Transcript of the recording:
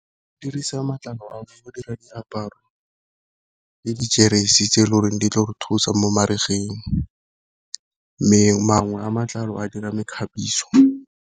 Go dirisa matlalo a go dira diaparo le dijeresi tse e le goreng di tlo re thusa mo marigeng, mme mangwe a matlalo a dira mekgabiso.